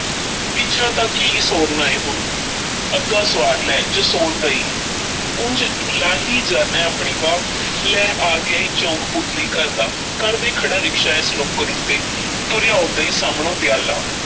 ਪਿੱਛਾ ਤਾਂ ਕੀ ਸੌਰਨਾ ਏ ਹੁਣ ਅੱਗਾ ਸੁਆਰ ਲੈ ਜੇ ਸੌਰਦਾ ਈ ਉਂਜ ਲਾਹੀ ਜਾਨਾਂ ਐਂ ਆਪਣੀ ਵਾਹ ਲੈ ਆ ਗਿਆ ਈ ਚੌਕ ਪੁਤਲੀ ਘਰ ਦਾ, ਕਰਦੇ ਖੜ੍ਹਾ ਰਿਕਸ਼ਾ ਐਸ ਨੁੱਕਰ ਉੱਤੇ ਤੁਰਿਆ ਆਉਂਦਾ ਈ ਸਾਮ੍ਹਣਿਓਂ ਦਿਆਲਾ।